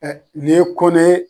nin ye Kone ye